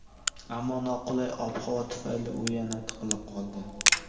ammo noqulay ob-havo tufayli u yana tiqilib qoldi.